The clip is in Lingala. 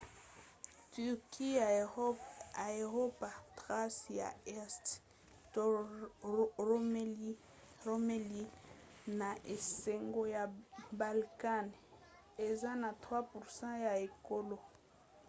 turquie ya eropa thrace ya este to roumélie na esanga ya balkan eza na 3% ya ekolo